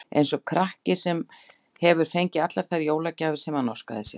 Eins og krakki, sem hefur fengið allar þær jólagjafir sem hann óskaði sér.